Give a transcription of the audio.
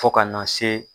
Fo ka na se